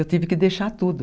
Eu tive que deixar tudo.